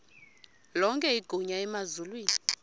lonke igunya emazulwini